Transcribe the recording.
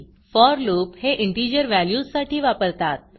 four loopफॉर loop हे integer व्हॅल्यूजसाठी वापरतात